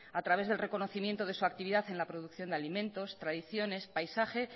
a través del reconocimiento de su actividad en la producción de alimentos tradiciones paisaje